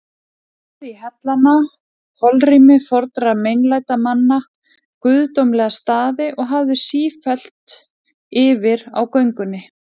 Farðu í hellana, holrými fornra meinlætamanna, guðdómlega staði, og hafðu sífellt yfir á göngunni